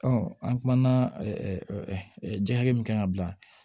an kumana ji hakɛ min kan ka bila